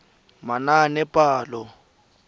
manaanepalo